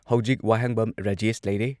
ꯍꯧꯖꯤꯛ ꯋꯥꯍꯦꯡꯕꯝ ꯔꯥꯖꯦꯁ ꯂꯩꯔꯦ